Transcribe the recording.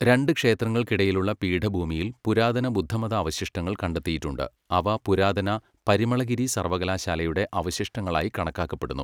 രണ്ട് ക്ഷേത്രങ്ങൾക്കിടയിലുള്ള പീഠഭൂമിയിൽ പുരാതന ബുദ്ധമത അവശിഷ്ടങ്ങൾ കണ്ടെത്തിയിട്ടുണ്ട്, അവ പുരാതന പരിമളഗിരി സർവകലാശാലയുടെ അവശിഷ്ടങ്ങളായി കണക്കാക്കപ്പെടുന്നു.